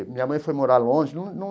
Minha mãe foi morar longe num num.